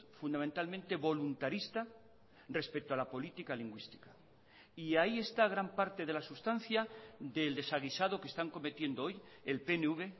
fundamentalmente voluntarista respecto a la política lingüística y ahí está gran parte de la sustancia del desaguisado que están cometiendo hoy el pnv